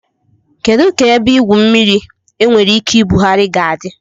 Kedu ka ebe igwu mmiri enwere ike ibugharị ga-adị?